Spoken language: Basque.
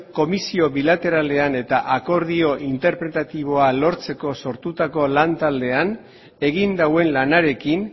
komisio bilateralean eta akordio interpretatiboa lortzeko sortutako lan taldean egin duen lanarekin